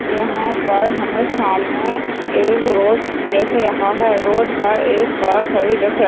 यहाँ पर हमें सामने एक रोड दिख रहा है रोड पर एक कार खड़ी दिख रही --